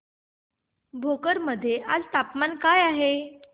भोकर मध्ये आज तापमान काय आहे